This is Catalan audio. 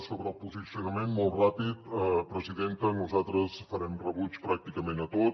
sobre el posicionament molt ràpid presidenta nosaltres farem rebuig pràcticament a tot